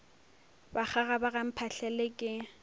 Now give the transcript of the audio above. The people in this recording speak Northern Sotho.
bakgaga ba ga mphahlele ke